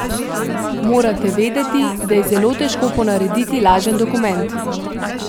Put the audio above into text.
Morate vedeti, da je zelo težko ponarediti lažen dokument ...